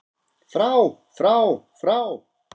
FRÁ FRÁ FRÁ